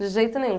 De jeito nenhum.